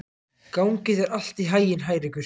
Gangi þér allt í haginn, Hrærekur.